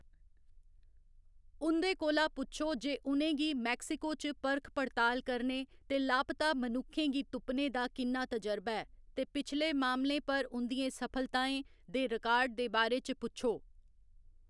उं'दे कोला पुच्छो जे उ'नें गी मेक्सिको च परख पड़ताल करने ते लापता मनुक्खें गी तुप्पने दा किन्ना तजर्बा ऐ, ते पिछले मामलें पर उं'दियें सफलताएं दे रिकार्ड दे बारे च पुच्छो।